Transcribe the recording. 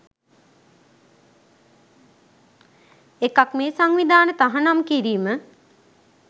එකක් මේ සංවිධාන තහනම් කිරීම